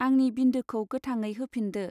आंनि बिन्दोखौ गोथाङै होफिन्दो.